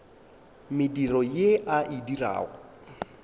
mediro ye a e dirago